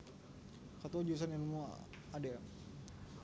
Ketua Jurusan Ilmu Adm